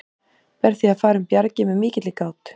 Ber því að fara um bjargið með mikilli gát.